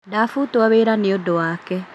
Ndabutwo wĩra nĩũndũ wake